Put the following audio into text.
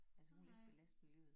Altså hun vil ikke belaste miljøet